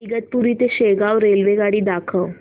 इगतपुरी ते शेगाव रेल्वेगाडी दाखव